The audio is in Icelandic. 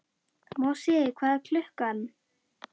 Mosi, hvað er klukkan?